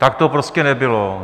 Tak to prostě nebylo.